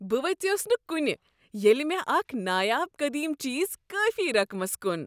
بہ ویژیوس نہ کُنہ ییٚلہ مےٚ اکھ نایاب قدیم چیز کٲفی رقمس کُن۔